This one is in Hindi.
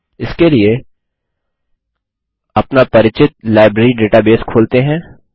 इसके लिए अपना परिचित लाइब्रेरी डेटाबेस खोलते हैं